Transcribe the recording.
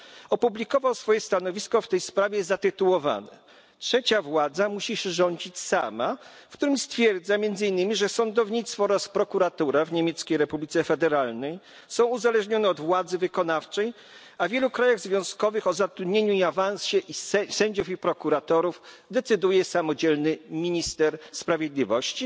opublikował swoje stanowisko w tej sprawie zatytułowane Trzecia władza musi się rządzić sama, w którym stwierdza między innymi, że sądownictwo oraz prokuratura w Niemieckiej Republice Federalnej są uzależnione od władzy wykonawczej, a wielu krajach związkowych o zatrudnieniu i awansie sędziów i prokuratorów decyduje samodzielnie minister sprawiedliwości.